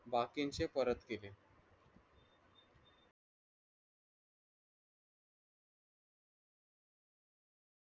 बाकीचे परत केले.